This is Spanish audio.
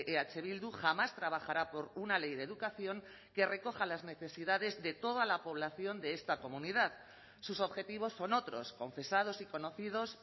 eh bildu jamás trabajará por una ley de educación que recoja las necesidades de toda la población de esta comunidad sus objetivos son otros confesados y conocidos